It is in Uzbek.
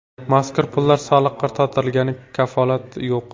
Mazkur pullar soliqqa tortilganiga kafolat yo‘q.